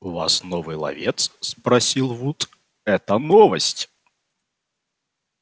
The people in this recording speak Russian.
у вас новый ловец спросил вуд это новость